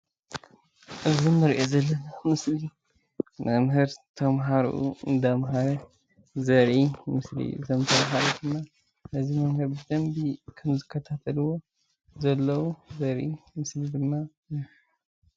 እዚ እንሪኦ ዘለና ምስሊ መምህር ተማሃርኡ እንዳምሃረ ዘርኢ ምስሊ እዩ፡፡ እዞም ተማሃሮ ድማ ነዚ መምህር ብደንቢ ከም ዝከታተልዎ ዘለዉ ዘርኢ ምስሊ ድማ እዩ፡፡